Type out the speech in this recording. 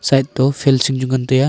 side toh fancing fancing chu ngan taiya.